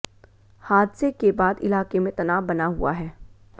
हादसे के बाद इलाके में तनाव बना हुआ है